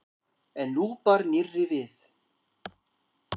En nú bar nýrra við.